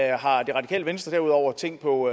det radikale venstre derudover tænkt på